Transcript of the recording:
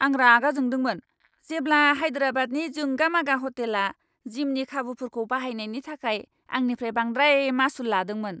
आं रागा जोंदोंमोन जेब्ला हायदेराबादनि जोंगा मागा ह'टेला जिमनि खाबुफोरखौ बाहायनायनि थाखाय आंनिफ्राय बांद्राय मासुल लादोंमोन!